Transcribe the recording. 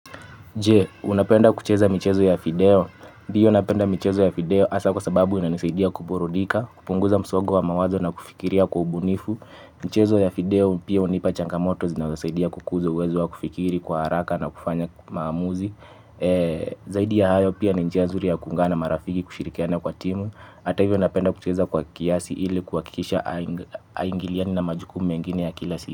Je, unapenda kucheza michezo ya video? Ndiyo napenda michezo ya video hasaa kwa sababu inanisaidia kuburudika, kupunguza msogo wa mawazo na kufikiria kwa ubunifu. Michezo ya video pia hunipa changamoto zinazosaidia kukuzo uwezo wa kufikiri kwa haraka na kufanya maamuzi. Zaidi ya hayo pia ni njia nzuri ya kuungana na marafiki kushirikiana kwa timu. Ata hivyo napenda kucheza kwa kiasi ili kuhakikisha haingiliani na majukumu mengine ya kila siku.